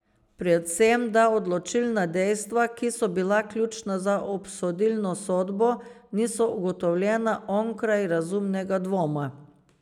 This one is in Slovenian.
Predvsem da odločilna dejstva, ki so bila ključna za obsodilno sodbo, niso ugotovljena onkraj razumnega dvoma.